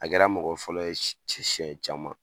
A kɛra mɔgɔ fɔlɔ ye siɲɛ caman.